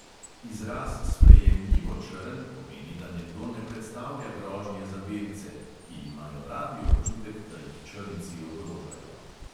Izraz sprejemljivo črn pomeni, da nekdo ne predstavlja grožnje za belce, ki imajo radi občutek, da jih črnci ogrožajo.